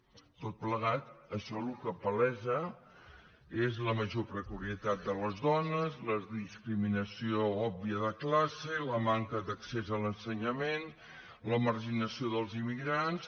per tot plegat això el que palesa és la major precarietat de les dones la discriminació òbvia de classe la manca d’accés a l’ensenyament la marginació dels immigrants